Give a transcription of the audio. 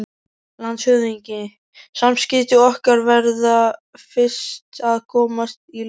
LANDSHÖFÐINGI: Samskipti okkar verða fyrst að komast í lag.